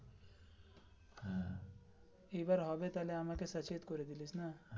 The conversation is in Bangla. এইবার হবে আমাকে সচেত করে দিলি না.